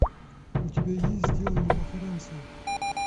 у тебя есть сделано во франции